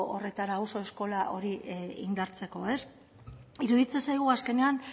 horretara auzo eskola hori indartzeko iruditzen zaigu azkenean